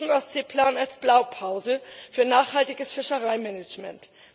Ich sehe diesen Ostseeplan als Blaupause für nachhaltiges Fischereimanagement.